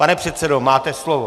Pane předsedo, máte slovo.